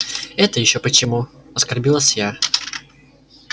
это ещё почему оскорбилась я